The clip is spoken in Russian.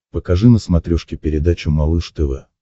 покажи на смотрешке передачу малыш тв